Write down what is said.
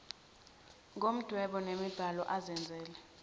ngomdwebo nombhalo azenzele